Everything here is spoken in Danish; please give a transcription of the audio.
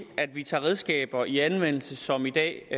at vi tager redskaber i anvendelse som i dag